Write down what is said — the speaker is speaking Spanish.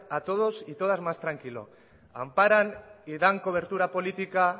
a todos y a todas más tranquilo amparan y dan cobertura política